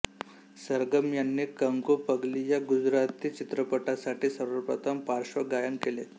सरगम यांनी कंकू पगली या गुजराथी चित्रपटासाठी सर्वप्रथम पार्श्वगायन केले